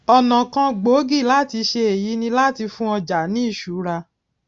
ònà kan gbòógì láti ṣe èyí ni láti fún ọjà ní ìṣúra